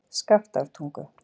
Skaftártungu